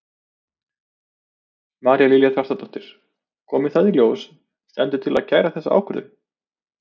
María Lilja Þrastardóttir: Komi það í ljós, stendur til að kæra þessa ákvörðun?